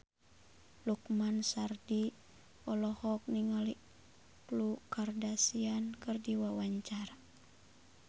Lukman Sardi olohok ningali Khloe Kardashian keur diwawancara